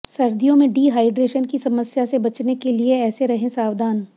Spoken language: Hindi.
सर्दियों में डिहाइड्रेशन की समस्या से बचने के लिए ऐसे रहे सावधान